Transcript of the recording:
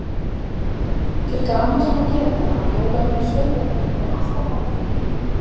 Til gamans má geta að jólaböll sveitarinnar voru alltaf haldin heima.